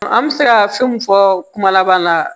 An bɛ se ka fɛn min fɔ kuma laban na